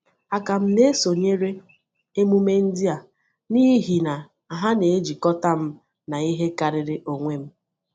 A ka m na-esonyere emume ndị a n’ihi na ha na-ejikọta m na ihe karịrị onwe m.